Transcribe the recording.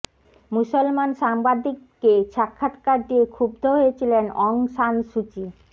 মুসলমান সাংবাদিককে সাক্ষাৎকার দিয়ে ক্ষুব্ধ হয়েছিলেন অং সান সুচি